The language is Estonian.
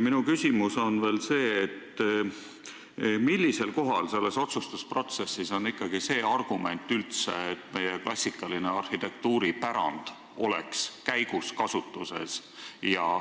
Minu küsimus on veel see: millisel kohal selles otsustusprotsessis on ikkagi see argument, et meie klassikaline arhitektuuripärand oleks kasutuses ja